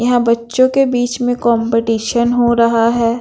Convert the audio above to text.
यहाँ बच्चों के बीच में कंपटीशन हो रहा हैं।